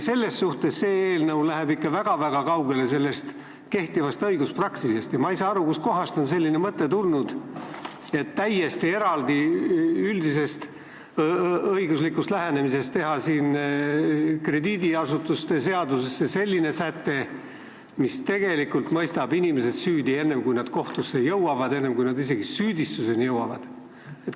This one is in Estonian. Selles mõttes eelnõu läheb ikka väga-väga kaugele kehtivast õiguspraktikast ja ma ei saa aru, kust kohast on selline mõte tulnud, et täiesti eraldi üldisest õiguslikust lähenemisest panna krediidiasutuste seadusesse säte, mis tegelikult mõistab inimesed süüdi enne, kui nad kohtusse jõuavad, enne, kui neile isegi süüdistus esitatakse.